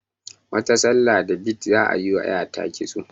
Wata sallar da bid za ayi wa ƴata kitso